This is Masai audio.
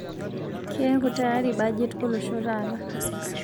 Keeko tayari bajet olosho taata